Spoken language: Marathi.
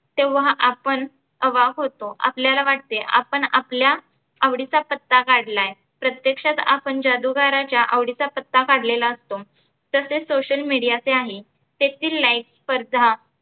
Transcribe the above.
तेव्हा आपण अवाक होतो आपल्याला वाटते आपण आपला आवडीचा पत्ता काढलाय. प्रत्यक्षात आपण जादुगाराच्या आवडीचा पत्ता काढलेला असतो. तसेचं social media चे आहे. येथील life स्पर्धा